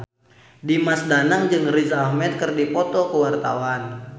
Dimas Danang jeung Riz Ahmed keur dipoto ku wartawan